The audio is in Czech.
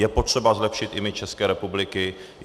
Je potřeba zlepšit image České republiky.